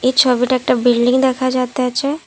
এই ছবিতে একটা বিল্ডিং দেখা যাইতেছে।